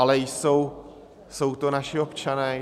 Ale jsou to naši občané.